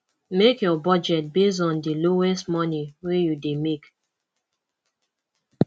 make your budget based on di lowest money wey you dey make